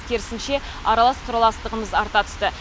керісінше аралас құраластығымыз арта түсті